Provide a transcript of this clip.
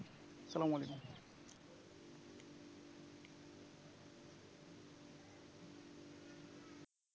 সালামালাইকুম।